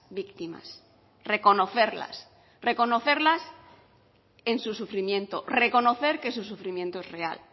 víctimas reconocerlas reconocerlas en su sufrimiento reconocer que su sufrimiento es real